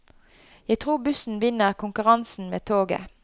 Jeg tror bussen vinner konkurransen med toget.